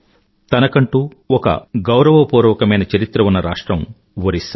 తనకంటూ ఒక గౌరవపూర్వకమైన చరిత్ర ఉన్న రాష్ట్రం ఒరిస్సా